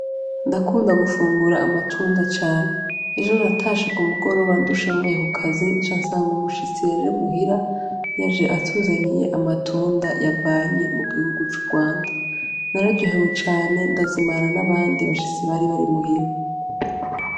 Ndakunda gufungura amatunda cane ejo ratashe ku mugoroba ndushemvoyekukazi ca nsanga umushitsi yaje muhira yaje atuzaniye amatunda yavanye mu gihugu c'urwanda nararyohewe cane ndazimana n'abandi bashitsi bari bari muhira.